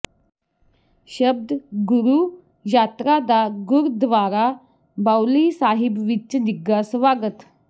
ਸ਼ਬਦ ਗੁਰੂ ਯਾਤਰਾ ਦਾ ਗੁਰਦੁਆਰਾ ਬਾਉਲੀ ਸਾਹਿਬ ਵਿਚ ਨਿੱਘਾ ਸਵਾਗਤ